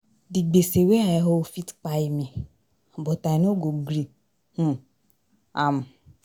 Di gbese wey I owe fit kpai me but I no go gree um am.